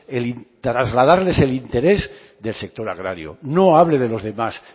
trasladarles el interés del sector agrario no hablo de los demás